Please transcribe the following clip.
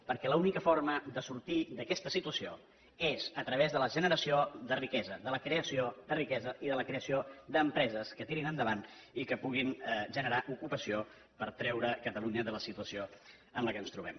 perquè l’única forma de sortir d’aquesta situació és a través de la generació de riquesa de la creació de riquesa i de la creació d’empreses que tirin endavant i que puguin generar ocupació per treure catalunya de la situació en què ens trobem